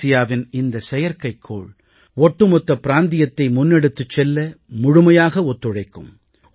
தெற்காசியாவின் இந்த செயற்கைக்கோள் ஒட்டுமொத்த பிராந்தியத்தை முன்னெடுத்துச் செல்ல முழுமையாக ஒத்துழைக்கும்